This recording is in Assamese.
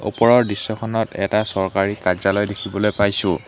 ওপৰৰ দৃশ্যখনত এটা চৰকাৰী কাৰ্যালয় দেখিবলৈ পাইছোঁ।